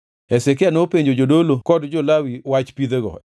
Hezekia nopenjo jodolo kod jo-Lawi wach pidhego,